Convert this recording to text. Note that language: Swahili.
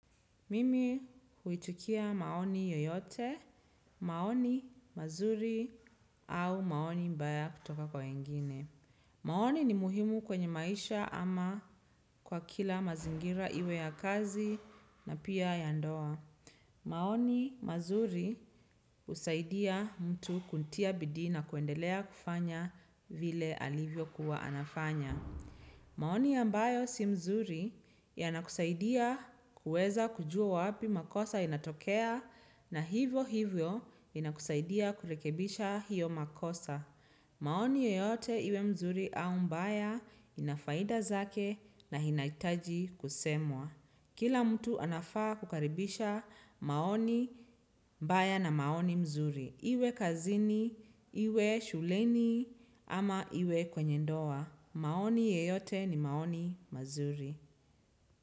Mimi huitikia maoni yoyote, maoni mazuri au maoni mbaya kutoka kwa wengine. Maoni ni muhimu kwenye maisha ama kwa kila mazingira iwe ya kazi na pia ya ndoa. Maoni mazuri husaidia mtu kutia bidii na kuendelea kufanya vile alivyokuwa anafanya. Maoni ambayo si mzuri yanakusaidia kuweza kujua wapi makosa inatokea na hivyo hivyo inakusaidia kurekebisha hiyo makosa. Maoni yoyote iwe mzuri au mbaya ina faida zake na inahitaji kusemwa. Kila mtu anafaa kukaribisha maoni mbaya na maoni mzuri. Iwe kazini, iwe shuleni ama iwe kwenye ndoa. Maoni yeyote ni maoni mazuri.